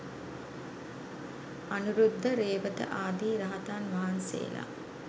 අනුරුද්ධ, රේවත ආදී රහතන් වහන්සේලා